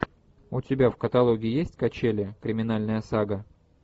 у тебя в каталоге есть качели криминальная сага